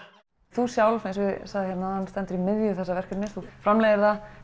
þú sjálf stendur í miðju þessa verkefnis framleiðir það